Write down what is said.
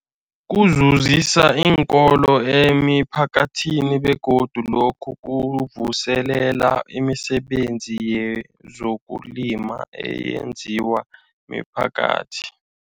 Kuzuzisa iinkolo nemiphakathi begodu lokhu kuvuselela imisebenzi yezokulima eyenziwa miphakathi.